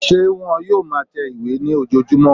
Ṣé wón yóò ma tẹ ìwé ní ojojúmọ́?